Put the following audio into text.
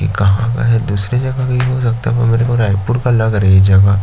इ कहाँ वाला है दूसरे जगह का इ हो सकता है पर मेको रायपुर का लग रहा है ये जगह--